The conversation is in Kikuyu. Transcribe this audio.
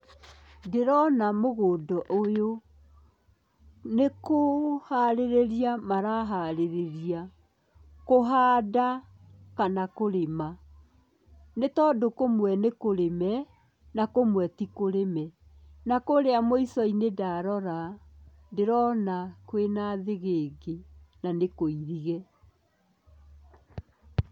Ndĩrona mũgũnda ũyũ, nĩ kũharĩrĩria maraharĩrĩria, kũhanda kana kũrĩma, nĩ tondũ kũmwe nĩ kũrĩme, na kũmwe ti kũrĩme, na kũrĩa mũico-inĩ ndarora, ndĩrona kwĩna thĩgĩngĩ na nĩ kũirige.